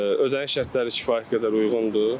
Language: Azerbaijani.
Ödəniş şərtləri kifayət qədər uyğundur.